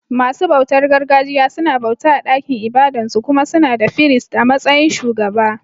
Masu bautar gargajiya suna bauta a ɗakin ibadan su, kuma suna da firist a matsayin shugaba.